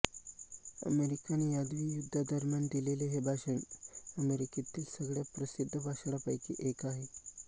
American यादवी युद्धा दरम्यान दिलेले हे भाषण अमेरिकेतील सगळ्यात प्रसिद्ध भाषणांपैकी एक आहे